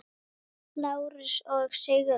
Lárus og Sigrún.